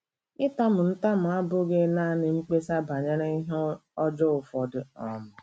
Ịtamu ntamu abụghị nanị mkpesa banyere ihe ọjọọ ụfọdụ um.